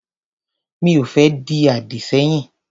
Mi ò fẹ́ di àdì sẹ́yìn.